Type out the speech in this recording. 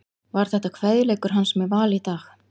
Var þetta kveðjuleikur hans með Val í dag?